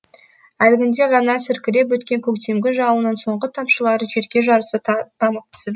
әлгінде ғана сіркіреп өткен көктемгі жауынның соңғы тамшылары жерге жарыса тамып түсіп